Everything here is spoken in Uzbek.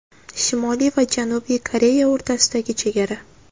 Shimoliy va Janubiy Koreya o‘rtasidagi chegara.